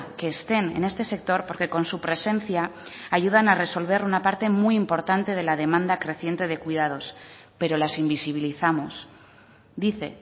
que estén en este sector porque con su presencia ayudan a resolver una parte muy importante de la demanda creciente de cuidados pero las invisibilizamos dice